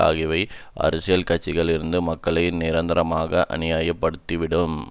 ஆகியவை அரசியல் கட்சிகளிடம் இருந்து மக்களை நிரந்தரமாக அந்நியாயப்படுத்திவிடும்